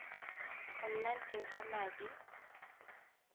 go nna teng ga madi